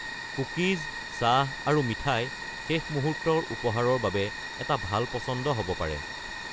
Cookies, চাহ, আৰু মিঠাই শেষ মুহূৰ্তৰ উপহাৰৰ বাবে এটা ভাল পছন্দ হ’ব পাৰে।